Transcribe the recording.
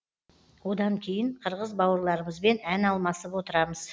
одан кейін қырғыз бауырларымызбен ән алмасып отырамыз